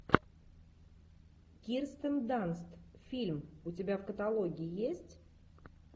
кирстен данст фильм у тебя в каталоге есть